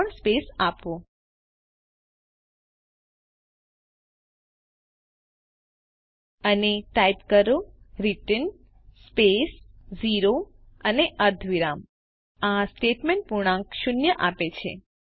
અહીં ત્રણ સ્પેસ આપો અને ટાઇપ કરો રિટર્ન સ્પેસ 0 અને અર્ધવિરામ આ સ્ટેટમેન્ટ પૂર્ણાંક શૂન્ય આપે છે